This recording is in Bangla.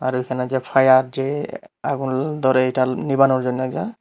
এখানে যে ফায়ার যে আগুল ধরে এটা নিভানোর জন্য ।